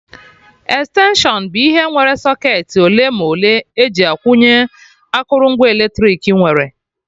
Extension bụ ihe nwere socketị ole ma ole eji akwụnye akụrụngwa eletrik nwere